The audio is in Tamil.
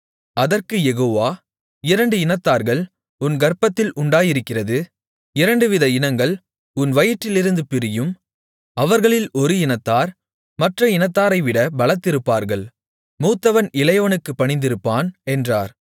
அதற்குக் யெகோவா இரண்டு இனத்தார்கள் உன் கர்ப்பத்தில் உண்டாயிருக்கிறது இரண்டுவித இனங்கள் உன் வயிற்றிலிருந்து பிரியும் அவர்களில் ஒரு இனத்தார் மற்ற இனத்தாரைவிட பலத்திருப்பார்கள் மூத்தவன் இளையவனுக்குப் பணிந்திருப்பான் என்றார்